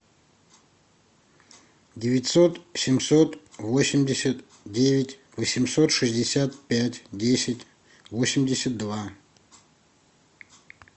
девятьсот семьсот восемьдесят девять восемьсот шестьдесят пять десять восемьдесят два